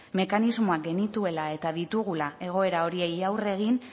mekanismoak genituela eta ditugula egoera horiei aurre egin